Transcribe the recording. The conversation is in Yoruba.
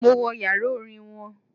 Mo wo yàrá Orin won